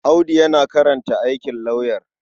Audu yana karanta aikin lauyer.